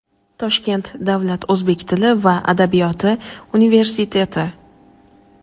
Toshkent davlat o‘zbek tili va adabiyoti universiteti;.